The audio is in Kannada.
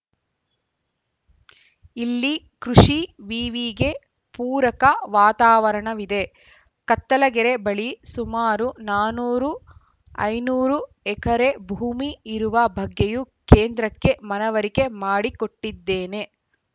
ಇಲ್ಲಿ ಕೃಷಿ ವಿವಿಗೆ ಪೂರಕ ವಾತಾವರಣವಿದೆ ಕತ್ತಲಗೆರೆ ಬಳಿ ಸುಮಾರು ನಾನೂರು ಐನೂರು ಎಕರೆ ಭೂಮಿ ಇರುವ ಬಗ್ಗೆಯೂ ಕೇಂದ್ರಕ್ಕೆ ಮನವರಿಕೆ ಮಾಡಿಕೊಟ್ಟಿದ್ದೇನೆ